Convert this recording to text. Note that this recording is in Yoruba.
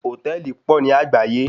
Hòtẹ́ẹ̀lì pọ̀ ní àgbáyé.